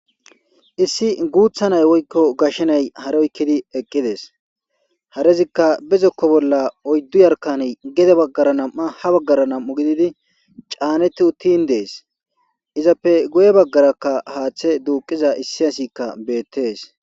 issi guutha nay woykko gashenay haroykkidi eqqides harezikka bezokko bolla oyddu yarkan gede baggara nam7a ha baggara nam7u gididi caanetti uttin dees izappe goye baggarakka haaththe duuqiza issi asikka beettees